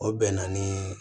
O bɛn na ni